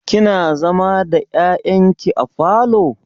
Kina zama da ƴaƴan ki a falo?